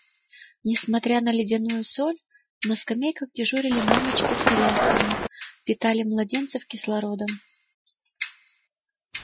несмотря на ледяную соль на скамейках дежурили мамочки с колясками питали младенцев кислородом